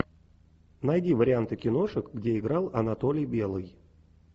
найди варианты киношек где играл анатолий белый